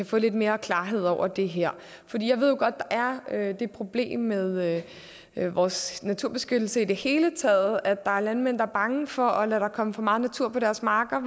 få lidt mere klarhed over det her jeg ved jo godt at der er det problem med med vores naturbeskyttelse i det hele taget at der er landmænd der er bange for at der kommer for meget natur på deres marker